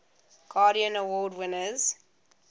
guardian award winners